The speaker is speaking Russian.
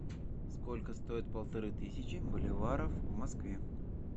сколько стоит полторы тысячи боливаров в москве